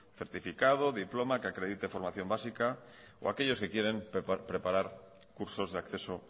certificado diploma que acredite formación básica o aquellos que quieren preparar cursos de acceso